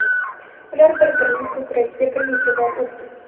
Ular bir-birining ko‘kragiga bir necha bor urdi.